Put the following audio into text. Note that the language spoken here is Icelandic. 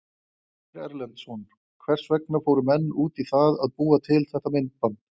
Ásgeir Erlendsson: Hvers vegna fóru menn út í það að búa til þetta myndband?